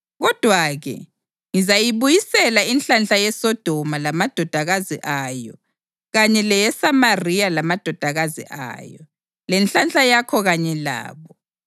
Kodwa-ke, ngizayibuyisela inhlanhla yeSodoma lamadodakazi ayo kanye leyeSamariya lamadodakazi ayo, lenhlanhla yakho kanye labo,